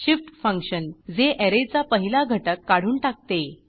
shift function जे ऍरेचा पहिला घटक काढून टाकते